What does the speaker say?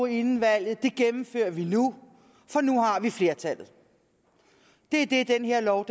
inden valget gennemfører vi nu for nu har vi flertallet det er det den her lov